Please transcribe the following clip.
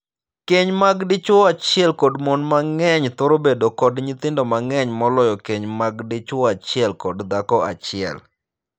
Keny mar dichwo achiel kod mon mang'eny thoro bedo kod nyithindo mang'eny moloyo keny mag dichwo achiel kod dhako achiel.